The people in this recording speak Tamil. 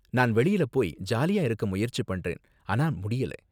நான் வெளியில போய் ஜாலியா இருக்க முயற்சி பண்றேன், ஆனா முடியல.